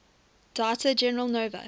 data general nova